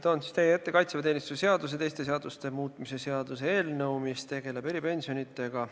Toon teie ette kaitseväeteenistuse seaduse ja teiste seaduste muutmise seaduse eelnõu, mis tegeleb eripensionidega.